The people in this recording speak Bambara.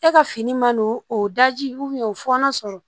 E ka fini man n'o o daji o fɔɔnɔ sɔrɔ